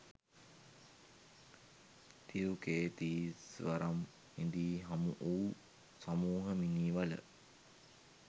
තිරුකේතීස්වරම් හිදී හමු වූ සමුහ මිනී වල